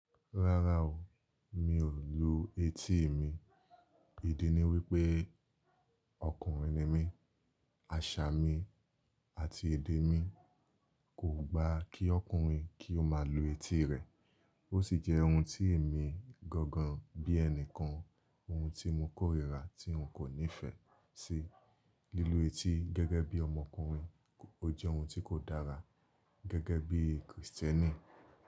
Rárá o, mi ò lu etí mi. Ìdí ni wípé ọkùnrin ni mí, àṣà mi àti èdè mi kò gba kí ọkùnrin kí ó máa lu etí rẹ̀. Ó sì jẹ́ ohun tí èmi gangan bí ẹni kan, ohun tí mo kórìíra tí n kò nífẹ̀ẹ́ sí. Lílu etí gẹ́gẹ́ bí ọmọkùnrin ó jẹ́ ohun tí kò dára gẹ́gẹ́ bí Kristẹ́nì.